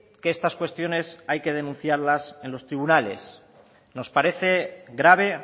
que estas cuestiones hay que denunciarlas en los tribunales nos parece grave